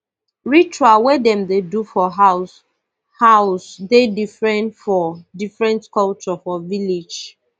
ritual wey dem dey do for house house dey different for different culture for village